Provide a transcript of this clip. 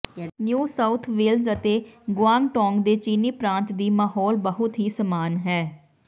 new South Wales ਅਤੇ Guangdong ਦੇ ਚੀਨੀ ਪ੍ਰਾਂਤ ਦੀ ਮਾਹੌਲ ਬਹੁਤ ਹੀ ਸਮਾਨ ਹੈ